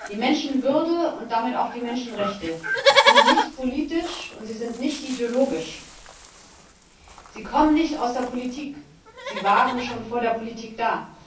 Die Menschenwürde und damit auch die Menschenrechte sind nicht politisch, und sie sind nicht ideologisch. Sie kommen nicht aus der Politik, sie waren schon vor der Politik da.